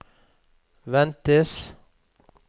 ventes